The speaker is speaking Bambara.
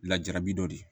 Lajarabi dɔ de